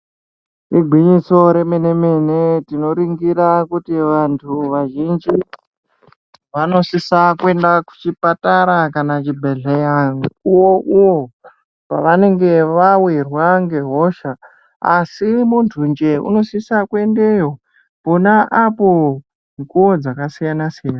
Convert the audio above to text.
Igwinyiso remene mene tinoringira kuti vantu vazhinji vanosisa kuenda kuchipatara kana zvibhedhleya mukuwoniyo pavanenge vawirwa ngehosha asi muntu nje unosise kuendeyo pona apo kuwo dzakasiyana siyana.